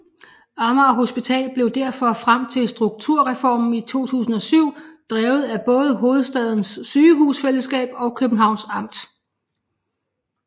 Amager Hospital blev derfor frem til strukturreformen i 2007 drevet af både Hovedstadens Sygehusfællesskab og Københavns Amt